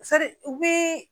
u bi